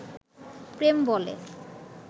প্রেম বলে